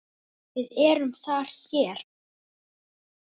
VIÐ ERUM ÞAR HÉR